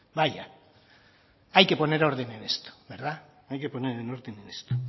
vaya hay que poner orden en esto verdad hay que poner orden en esto